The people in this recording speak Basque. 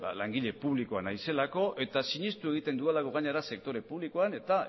langile publikoa naizelako eta sinesten egiten dudalako gainera sektore publikoan eta